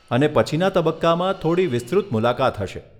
અને પછીના તબક્કામાં થોડી વિસ્તૃત મુલાકાત હશે.